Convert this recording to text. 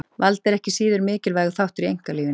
Vald er ekki síður mikilvægur þáttur í einkalífinu.